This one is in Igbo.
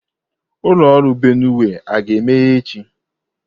Ụlọ ọrụ Benue a ga-emeghe echi?